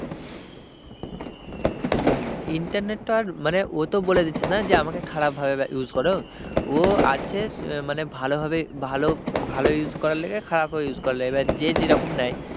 হম internet তো আর মানে ও ও বলে দিচ্ছে না আর যে আমাকে খারাপ ভাবে use করো ও আছে মানে ভালোভাবে মানে ভালো ভালো use করার লগে খারাপও use করার লগে এবার যে যেরকম নেয়।